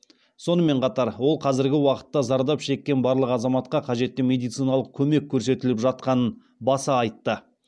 сонымен қатар ол қазіргі уақытта зардап шеккен барлық азаматқа қажетті медициналық көмек көрсетіліп жатқанын баса айтты